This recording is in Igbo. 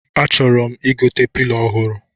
A chọrọ m igote pilo ọhụrụ